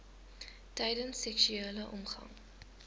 tydens seksuele omgang